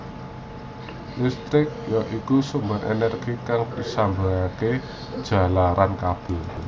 Listrik ya iku sumber energi kang disalurake jalaran kabel